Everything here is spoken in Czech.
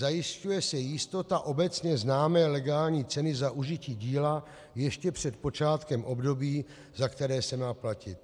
Zajišťuje se jistota obecně známé legální ceny za užití díla ještě před počátkem období, za které se má platit.